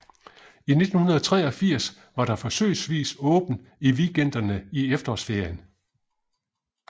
I 1983 var der forsøgsvist åbent i weekenderne i efterårsferien